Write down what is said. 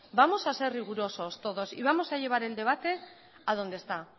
vamos a ser rigurosos todos y vamos a llegar el debate a donde está